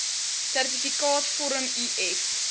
sertifikaat vorm uf